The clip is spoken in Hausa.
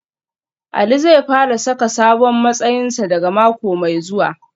Ali zai fara saka sabon matsayinsa daga mako mai zuwa